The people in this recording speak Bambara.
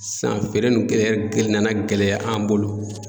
Sisan feere nunnu gɛ gɛlɛya an bolo